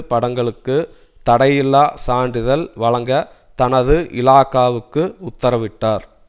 படங்களுக்கு தடையில்லா சான்றிதழ் வழங்க தனது இலாகாவுக்கு உத்தரவிட்டார்